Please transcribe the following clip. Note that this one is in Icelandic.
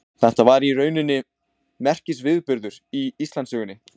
Þetta var í rauninni merkisviðburður í Íslandssögunni.